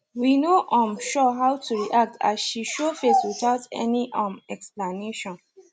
we no um sure how to react as she show face without any um explanation